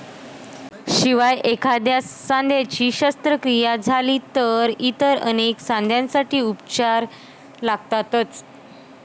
शिवाय एखाद्या सांध्याची शस्त्रक्रिया झाली तर इतर अनेक सांध्यांसाठी उपचार लागतातच.